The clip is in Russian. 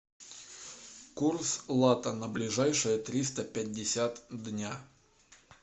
курс лата на ближайшие триста пятьдесят дня